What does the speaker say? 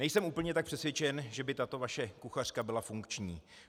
Nejsem tak úplně přesvědčen, že by tato vaše kuchařka byla funkční.